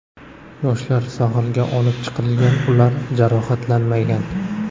Yoshlar sohilga olib chiqilgan, ular jarohatlanmagan.